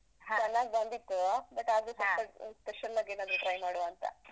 ಚೆನ್ನಾಗ್ ಬಂದಿತ್ತೂ but special ಆಗ್ ಏನಾದ್ರು try ಮಾಡುವಾಂತ.